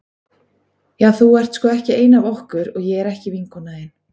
Já þú ert sko ekki ein af okkur og ég er ekki vinkona þín.